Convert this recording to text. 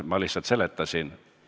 Ma lihtsalt seletasin.